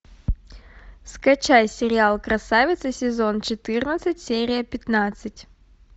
скачай сериал красавица сезон четырнадцать серия пятнадцать